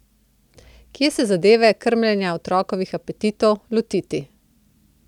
Kje se zadeve, krmljenja otrokovih apetitov, lotiti.